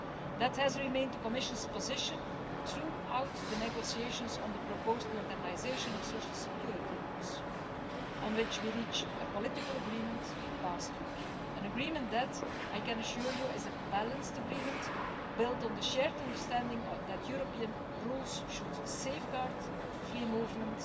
That has remained the Commission's position throughout the negotiations on the proposed modernisation of social security rules on which we reached a political agreement last week an agreement that, I can assure you, is a balanced agreement, built on the shared understanding that European rules should safeguard free movement